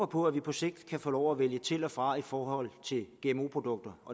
på at vi på sigt kan få lov at vælge til og fra i forhold til gmo produkter